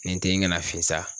Ni n te ɲini ka na fin sa